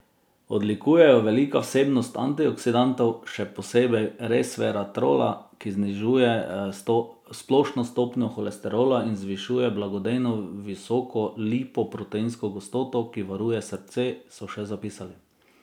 Odlikuje jo velika vsebnost antioksidantov, še posebej resveratrola, ki znižuje splošno stopnjo holesterola in zvišuje blagodejno visoko lipoproteinsko gostoto, ki varuje srce, so še zapisali.